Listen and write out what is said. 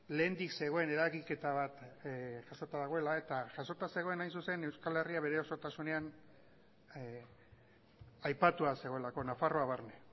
lehendik zegoen eragiketa bat jasota dagoela eta jasota zegoen hain zuzen euskal herria bere osotasunean aipatua zegoelako nafarroa barne